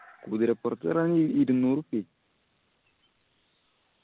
കുതിരപ്പൊറത്ത് കേറാൻ ഇരുന്നൂറ് റുപ്യാ ആയി.